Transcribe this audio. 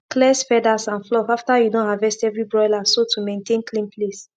clears feathers and fluff after you don harvest every broiler so to mantain clean place